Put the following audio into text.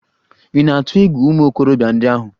Ị̀ na-atụ egwu ụmụ okorobịa ndị ahụ?